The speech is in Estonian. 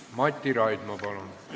Mati Raidma, palun!